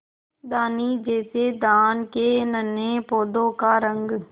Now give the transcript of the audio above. धानी जैसे धान के नन्हे पौधों का रंग